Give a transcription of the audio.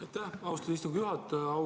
Aitäh, austatud istungi juhataja!